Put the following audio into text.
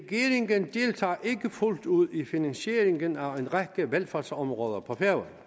fuldt ud i finansieringen af en række velfærdsområder på